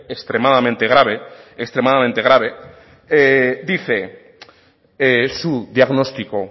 extremadamente grave extremadamente grave dice su diagnóstico